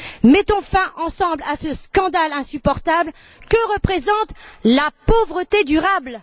Mettons fin ensemble à ce scandale insupportable que représente la pauvreté durable!